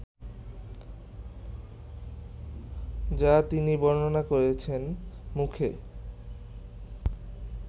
যা তিনি বর্ণনা করেছেন মুখে